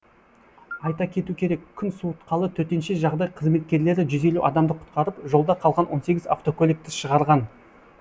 айта кету керек күн суытқалы төтенше жағдай қызметкерлері жүз елу адамды құтқарып жолда қалған он сегіз автокөлікті шығарған